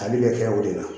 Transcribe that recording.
Tali bɛ kɛ o de la